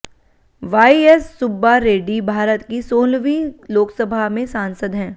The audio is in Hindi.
वाई॰एस॰ सुब्बा रेड्डी भारत की सोलहवीं लोकसभा में सांसद हैं